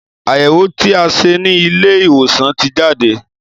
Àyẹwò tí a ṣe ni Ilé ìwòsàn ti jade